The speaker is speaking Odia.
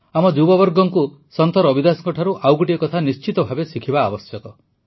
ଆମ ଯୁବାମାନଙ୍କୁ ସନ୍ଥ ରବିଦାସଙ୍କଠାରୁ ଆଉ ଗୋଟିଏ କଥା ନିଶ୍ଚିତ ଭାବେ ଶିଖିବା ଆବଶ୍ୟକ